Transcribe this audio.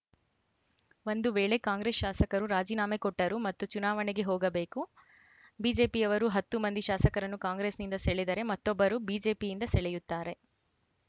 ಒಂದು ವೇಳೆ ಕಾಂಗ್ರೆಸ್‌ ಶಾಸಕರು ರಾಜೀನಾಮೆ ಕೊಟ್ಟರೂ ಮತ್ತೆ ಚುನಾವಣೆಗೆ ಹೋಗಬೇಕು ಬಿಜೆಪಿಯವರು ಹತ್ತು ಮಂದಿ ಶಾಸಕರನ್ನು ಕಾಂಗ್ರೆಸ್‌ನಿಂದ ಸೆಳೆದರೆ ಮತ್ತೊಬ್ಬರು ಬಿಜೆಪಿಯಿಂದ ಸೆಳೆಯುತ್ತಾರೆ